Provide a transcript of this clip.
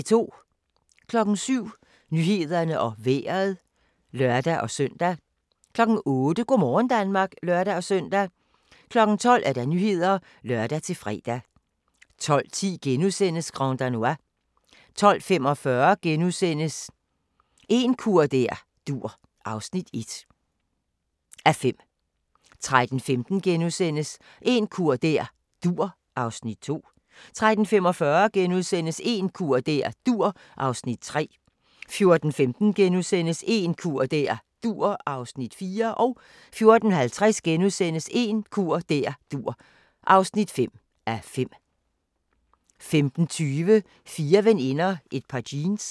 07:00: Nyhederne og Vejret (lør-søn) 08:00: Go' morgen Danmark (lør-søn) 12:00: Nyhederne (lør-fre) 12:10: Grand Danois * 12:45: En kur der dur (1:5)* 13:15: En kur der dur (2:5)* 13:45: En kur der dur (3:5)* 14:15: En kur der dur (4:5)* 14:50: En kur der dur (5:5)* 15:20: Fire veninder – et par jeans